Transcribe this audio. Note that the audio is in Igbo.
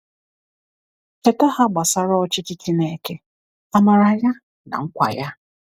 Cheta ha gbasara ọchịchị Chineke, amara ya na nkwa ya.